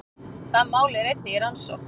Það mál er einnig í rannsókn